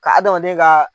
Ka adamaden ka